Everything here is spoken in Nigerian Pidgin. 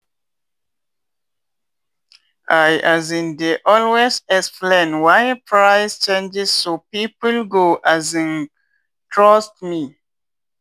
i um dey always explain why price change so people go um trust me.